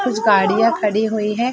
कुछ गाड़िया खड़ी हुई है।